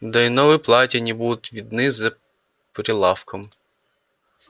да и новые платья не будут видны за прилавком